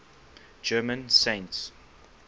german saints